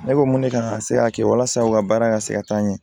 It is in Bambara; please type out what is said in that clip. Ne ko mun ne kan ka se ka kɛ walasa u ka baara ka se ka taa ɲɛ